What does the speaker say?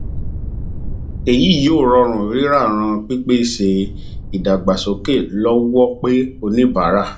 èyí yóò rọrùn rírà ràn pípèsè ìdàgbàsókè lọwọ pe oníbàárà